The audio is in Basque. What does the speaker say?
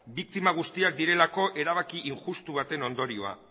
biktima guztiak direlako erabaki injustu baten ondorioa